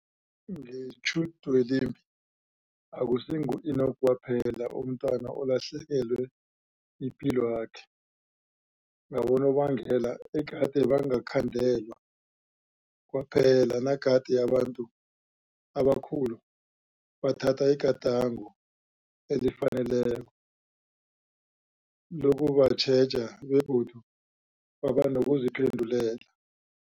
Ngetjhudwelimbi, akusingu-Enock kwaphela umntwana olahlekelwe yipilwakhe ngabonobangela egade bangakhandelwa, kwaphela nagade abantu abakhulu bathatha igadango elifaneleko lokubatjheja begodu baba nokuziphendulela.